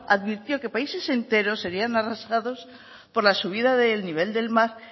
advirtió que países enteros serian arrasados por la subida del nivel del mar